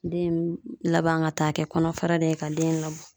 Den laban ka taa kɛ kɔnɔfara de ye ka den labɔ.